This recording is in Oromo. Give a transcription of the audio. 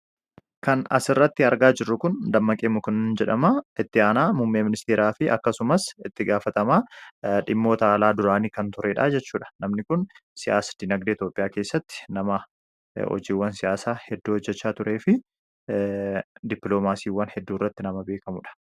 kan as irratti argaa jirru kun dammaqee mukuna jedhama itti haanaa mummee ministeeraa fi akkasumas itti gaafatamaa dhimmoota alaa duraanii kan tureedhaa jechuudha namni kun siyaas dinagdee toophiyaa keessatti nama ojiiwwan siyaasaa hedduu hojjechaa turee fi dipiloomaasiiwwan hedduu irratti nama beekamuudha